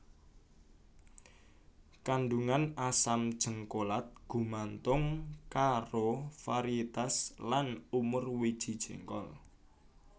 Kandungan asam jéngkolat gumantung karo varietas lan umur wiji jéngkol